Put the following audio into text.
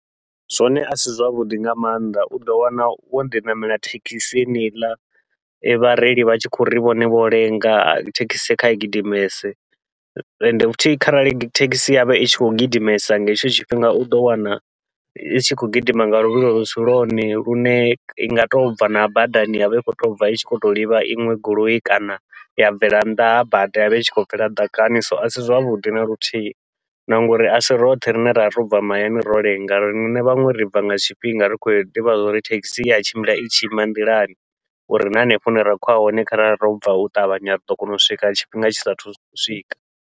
Zwone asi zwavhuḓi nga maanḓa uḓo wana wo ḓi ṋamela thekhisini heneiḽa vhareili vha tshi khou ri vhone vho lenga thekhisi kha i gidimese, ende futhi kharali thekhisi yavha i tshi khou gidimesa nga hetsho tshifhinga uḓo wana i tshi khou gidima nga luvhilo lusi lwone, lune i nga tobva na badani yavha i khou tobva i tshi khou tou livha iṅwe goloi kana ya bvela nnḓa ha bada yavha i khou bvela ḓakani. So asi zwavhuḓi naluthihi na ngauri asi roṱhe rine ravha robva mahayani ro lenga, riṋe vhaṅwe ribva nga tshifhinga ri khou ḓivha zwa uri thekhisi iya tshimbila i tshi ima nḓilani, uri na hanefho hune ra khou ya hone kharali robva u ṱavhanya riḓo kona u swika tshifhinga tshisa thu swika.